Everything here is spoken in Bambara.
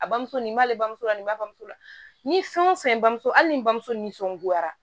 A bamuso nin b'ale bamuso la nin bamuso la ni fɛn o fɛn bamuso hali ni n bamuso nisɔngoyara